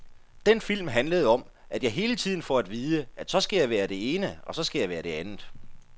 Den film handlede om, at jeg hele tiden får at vide, at så skal jeg være det ene, så skal jeg være det andet.